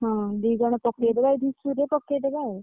ହଁ, ଦିଜଣ ପକେଇଦବା ଏଇ ଧୂସରି ରେ ପକେଇଦବା ଆଉ।